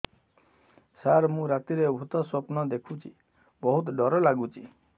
ସାର ମୁ ରାତିରେ ଭୁତ ସ୍ୱପ୍ନ ଦେଖୁଚି ବହୁତ ଡର ଲାଗୁଚି